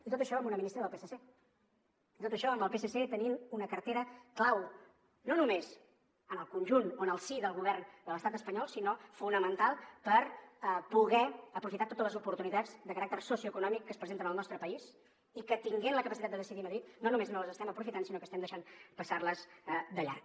i tot això amb una ministra del psc tot això amb el psc tenint una cartera clau no només en el si del govern de l’estat espanyol sinó fonamental per poder aprofitar totes les oportunitats de caràcter socioeconòmic que es presenten en el nostre país i que tenint la capacitat de decidir a madrid no només no les estem aprofitant sinó que les estem deixant passar de llarg